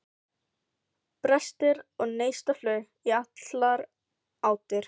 Brestir og neistaflug í allar áttir.